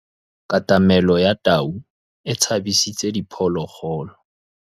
Katamêlô ya tau e tshabisitse diphôlôgôlô.